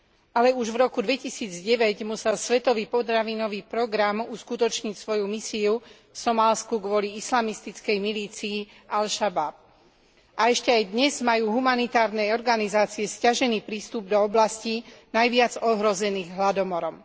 Ale už v roku 2009 musel svetový potravinový program uskutočniť svoju misiu v Somálsku kvôli islamistickej milícii al Šabáb a ešte aj dnes majú humanitárne organizácie sťažený prístup do oblasti najviac ohrozených hladomorom.